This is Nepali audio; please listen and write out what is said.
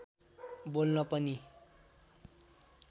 बोल्न पनि